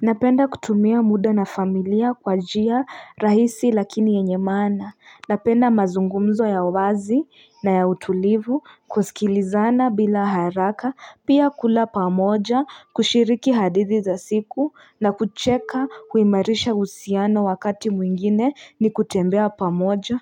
Napenda kutumia muda na familia kwa njia rahisi lakini yenye maana napenda mazungumzo ya wazi na ya utulivu kusikilizana bila haraka pia kula pamoja kushiriki hadithi za siku na kucheka huimarisha uhusiano wakati mwingine ni kutembea pamoja